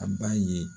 A b'a ye